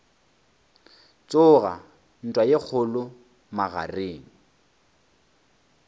tsoga ntwa ye kgolo magareng